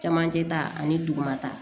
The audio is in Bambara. Camancɛ ta ani dugumata